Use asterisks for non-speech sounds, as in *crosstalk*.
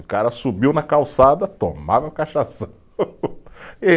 O cara subiu na calçada, tomava *unintelligible*